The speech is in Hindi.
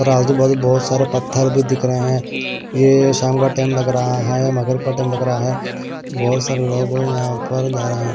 बहुत सारे पत्थर भी दिख रहे हैं ये शाम का टाइम लग रहा है मगरिब का टाइम लग रहा है बहुत सारे लोग यहां पर जा रहे हैं।